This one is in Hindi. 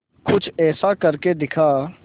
कुछ ऐसा करके दिखा